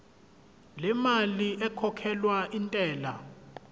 lemali ekhokhelwa intela